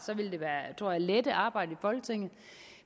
tror jeg lette arbejdet i folketinget